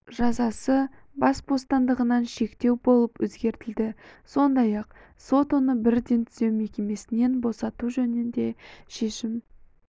жазасы бас бостандығынан шектеу болып өзгертілді сондай-ақ сот оны бірден түзеу мекемесінен босату жөнінде шешім